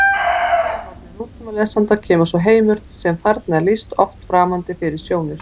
Frá sjónarhorni nútímalesanda kemur sá heimur sem þarna er lýst oft framandi fyrir sjónir: